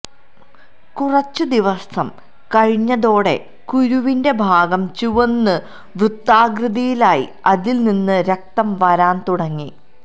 കുറച്ചുദിവസം കഴിഞ്ഞതോടെ കുരുവിന്റെ ഭാഗം ചുവന്ന് വൃത്താകൃതിയിലായി അതില് നിന്ന് രക്തം വരാന് തുടങ്ങി